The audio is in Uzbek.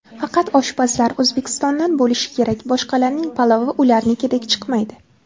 Faqat oshpazlar O‘zbekistondan bo‘lishi kerak, boshqalarning palovi ularnikidek chiqmaydi.